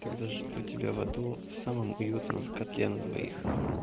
тогда жду тебя в аду в самом уютном котле на двоих